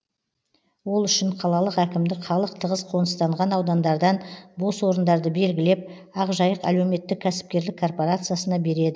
ол үшін қалалық әкімдік халық тығыз қоныстанған аудандардан бос орындарды белгілеп ақжайық әлеуметтік кәсіпкерлік корпорациясына береді